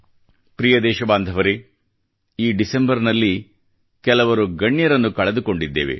ಪ್ರಿಯ ದೇಶಬಾಂಧವರೆ ಈ ಡಿಸೆಂಬರ್ ನಲ್ಲಿ ಕೆಲವರು ಗಣ್ಯರನ್ನು ಕಳೆದುಕೊಂಡಿದ್ದೇವೆ